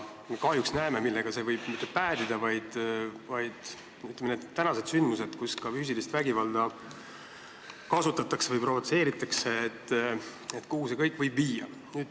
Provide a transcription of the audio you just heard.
Kahjuks näeme, millega see päädida võib, kuhu see kõik viia võib, kui mõtleme tänastele sündmustele, kus ka füüsilist vägivalda kasutati või provotseeriti.